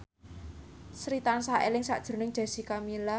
Sri tansah eling sakjroning Jessica Milla